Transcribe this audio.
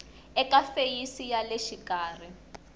eka feyisi ya le xikarhi